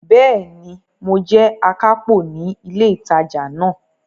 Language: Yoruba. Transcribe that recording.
Bẹ́ẹ̀ni, mo jẹ́ akápò ní ilé ìtajà náà.